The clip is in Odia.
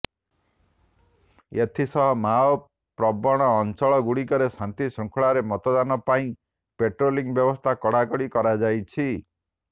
ଏଥିସହ ମାଓ ପ୍ରବଣ ଅଞ୍ଚଳଗୁଡ଼ିକରେ ଶାନ୍ତି ଶୃଙ୍ଖଳାରେ ମତଦାନ ପାଇଁ ପେଟ୍ରୋଲିଂ ବ୍ୟବସ୍ତା କଡ଼ାକଡ଼ି କରାଯାଇଛି